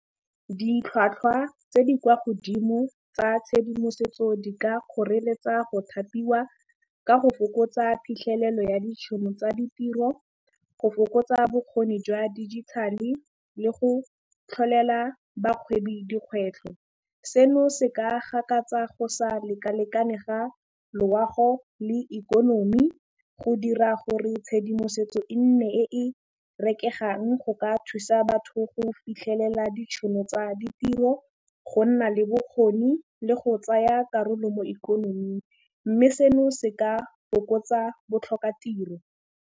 Ditlhwatlhwa tse di kwa godimo tsa tshedimosetso di ka kgoreletsa go thapiwa ka go fokotsa phitlhelelo ya ditšhono tsa ditiro, go fokotsa bokgoni jwa digital-e le go tlholela bagwebi dikgwetlho. Seno se ka gakatsa go sa lekalekane ga loago le ikonomi, go dira gore tshedimosetso e nne e e rekegang go ka thusa batho go fitlhelela ditšhono tsa ditiro, go nna le bokgoni le go tsaya karolo mo ikonoming, mme seno se ka fokotsa botlhokatiro.